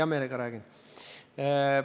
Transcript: Hea meelega räägin.